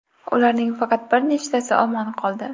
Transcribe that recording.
Ularning faqat bir nechtasi omon qoldi.